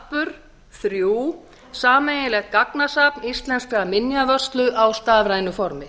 sarpur þrjú sameiginlegt gagnasafn íslenskrar minjavörslu á stafrænu formi